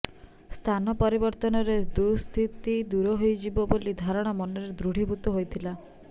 ସ୍ଥାନ ପରିବର୍ତ୍ତନରେ ଦୁଃସ୍ଥିତି ଦୂର ହୋଇଯିବ ବୋଲି ଧାରଣା ମନରେ ଦୃଢ଼ୀଭୂତ ହୋଇଥିଲା